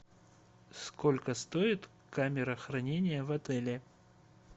сколько стоит камера хранения в отеле